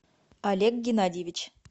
олег геннадьевич